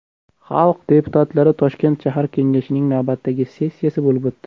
Xalq deputatlari Toshkent shahar kengashining navbatdagi sessiyasi bo‘lib o‘tdi .